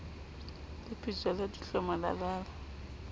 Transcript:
lepetjo la dihlomo la la